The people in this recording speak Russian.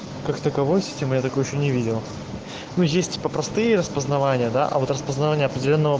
как таковой система я такого ещё не видел но есть типа простые распознавание да а вот распознавание определённого